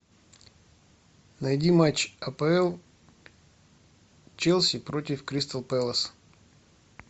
найди матч апл челси против кристал пэлас